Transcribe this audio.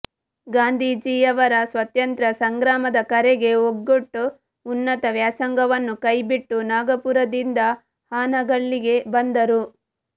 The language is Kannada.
ಗಾಂಧೀಜಿಯವರ ಸ್ವತಂತ್ರ ಸಂಗ್ರಾಮದ ಕರೆಗೆ ಓಗೊಟ್ಟು ಉನ್ನತ ವ್ಯಾಸಂಗವನ್ನು ಕೈಬಿಟ್ಟು ನಾಗಾಪುರದಿಂದ ಹಾನಗಲ್ಲಿಗೆ ಬಂದರು